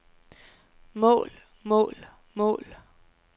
mål mål mål